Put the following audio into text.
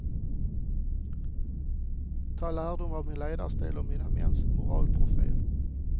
Ta lärdom av min ledarstil och mina mäns moralprofil.